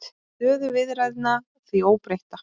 Hann segir stöðu viðræðna því óbreytta